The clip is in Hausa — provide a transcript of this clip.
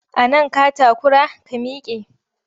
A nan ka takura? ka mike!